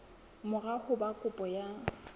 mora ho ba kopo ya